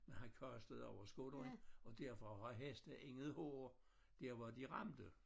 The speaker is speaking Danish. Men han kastede over skulderen og derfor har hesten intet hår der hvor de ramte